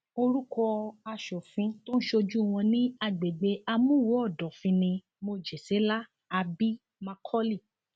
orúkọ aṣòfin tó ń ṣojú wọn ní agbègbè àmúwò ọdọfín ní mojèselá abi macauley